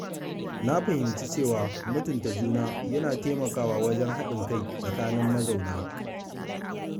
Na fahimci cewa mutunta juna yana taimakawa wajen haɗin kai tsakanin mazauna gida.